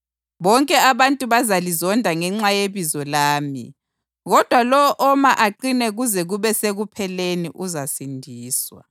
Bonke abantu bazalizonda ngenxa yebizo lami kodwa lowo oma aqine kuze kube sekupheleni uzasindiswa.